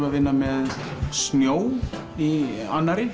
að vinna með snjó í annarri